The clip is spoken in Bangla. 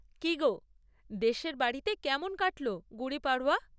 কী গো, দেশের বাড়িতে কেমন কাটল গুড়ি পাড়ওয়া?